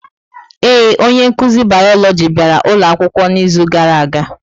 Ee, onye nkuzi Bioloji bịara ụlọ akwụkwọ n'izu gara aga.